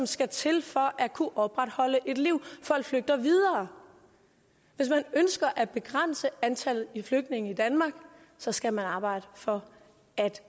skal til for at kunne opretholde livet folk flygter videre hvis man ønsker at begrænse antallet af flygtninge i danmark så skal man arbejde for at